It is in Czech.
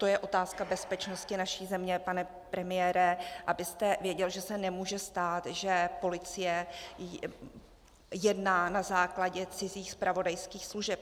To je otázka bezpečnosti naší země, pane premiére, abyste věděl, že se nemůže stát, že policie jedná na základě cizích zpravodajských služeb.